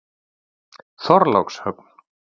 Þorlákshöfn